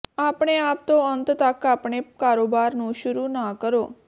ਆਪਣੇ ਆਪ ਤੋਂ ਅੰਤ ਤੱਕ ਆਪਣੇ ਕਾਰੋਬਾਰ ਨੂੰ ਸ਼ੁਰੂ ਨਾ ਕਰੋ